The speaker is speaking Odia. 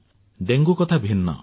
ଡେଙ୍ଗୁ କଥା ଭିନ୍ନ